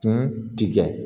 Kun tigɛ